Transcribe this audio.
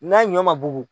N'a ɲɔ ma bugu